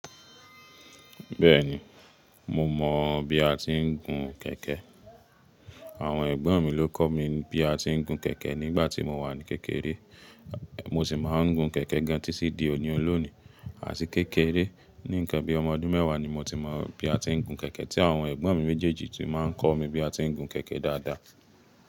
Bẹ́ẹ̀ni, mo mọ̀ bí a ti ń gun kẹ̀kẹ́. Àwọn ẹ̀gbọ́n mi ló kọ́ mi bí a ti ń gun kẹ̀kẹ́ nígbà tí mo wà ní kékeré, mo sì máa ń gun kẹ̀kẹ́ gan-an títí di òní olónìí. Àti kékeré, ní nǹkan bí ọmọ ọdún mẹ́wàá ni mo ti mọ̀ bí a ti ń gun kẹ̀kẹ́ tí àwọn ẹ̀gbọ́n mi méjèèjì ti máa ń kọ́ mi bí a ti ń gun kẹ̀kẹ́ dáadáa.